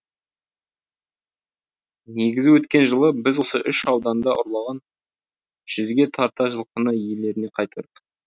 негізі өткен жылы біз осы үш ауданда ұрланған жүзге тарта жылқыны иелеріне қайтардық